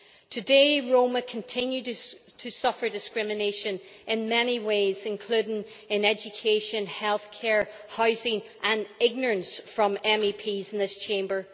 Today Roma continue to suffer discrimination in many ways, including in education, healthcare and housing, and in ignorance from MEPs in this Chamber.